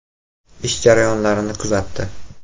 Ish jarayonlarini kuzatdi.